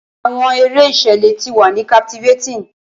Awọn ere iṣẹlẹ ti wa ni captivating.